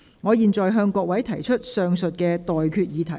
我現在向各位提出上述待決議題。